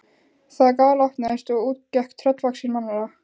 Það galopnaðist og út gekk tröllvaxin mannvera.